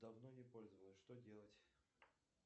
давно не пользовалась что делать